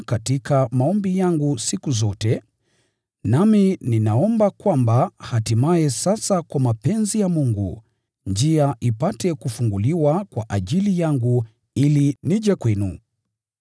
katika maombi yangu siku zote, nami ninaomba kwamba hatimaye sasa kwa mapenzi ya Mungu, njia ipate kufunguliwa kwa ajili yangu ili nije kwenu.